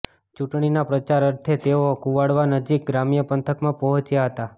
ચૂંટણીના પ્રચાર અર્થે તેઓ કુવાડવા નજીક ગ્રામ્ય પંથકમા પહોંચ્યા હતા